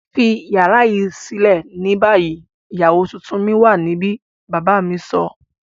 Fi yara yii silẹ ni bayi! Iyawo tuntun mi wa nibi baba mi sọ.